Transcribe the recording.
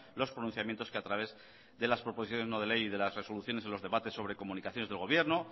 los pronunciamientos que a través de las proposiciones no de ley y de las resoluciones de los debates sobre comunicaciones de gobierno